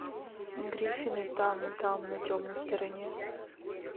гриффины там там на темной стороне